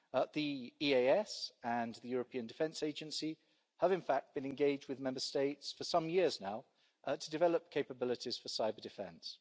The EAS and the European Defence Agency have in fact been engaged with Member States for some years now to develop capabilities for cyber-defence.